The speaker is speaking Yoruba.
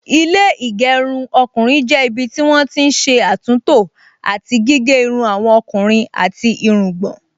Ilé ìgẹrun ọkùnrin jẹ́ ibi tí wọ́n ti n ṣé àtúntò àti gígé irun àwọn ọkùnrin àti irungbọ̀n